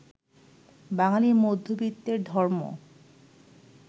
বাঙালি মধ্যবিত্তের ধর্ম